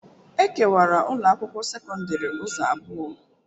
E kewara ụlọ akwụkwọ sekọndrị ụzọ abụọ.